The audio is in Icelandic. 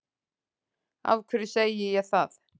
Af hverju segi ég það